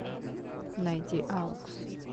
найди аукс